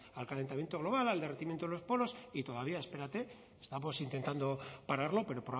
al calentamiento global al derretimiento de los polos y todavía espérate estamos intentando pararlo pero